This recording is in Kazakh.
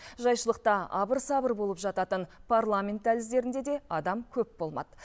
жайшылықта абыр сабыр болып жататын парламент дәліздерінде де адам көп болмады